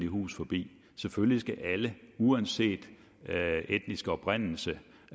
hus forbi selvfølgelig skal alle uanset etnisk oprindelse